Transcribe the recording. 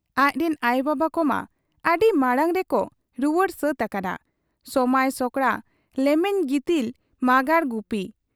ᱟᱡᱨᱤᱱ ᱟᱭᱚᱵᱟᱵᱟ ᱠᱚᱢᱟ ᱟᱹᱰᱤ ᱢᱟᱬᱟᱝᱨᱮ ᱠᱚ ᱨᱩᱣᱟᱹᱲ ᱥᱟᱹᱛ ᱟᱠᱟᱱᱟ ᱥᱚᱢᱟᱸᱭ ᱥᱚᱠᱲᱟ ᱞᱮᱢᱮᱧ ᱜᱤᱛᱤᱞ ᱢᱟᱸᱜᱟᱲ ᱜᱩᱯᱤ ᱾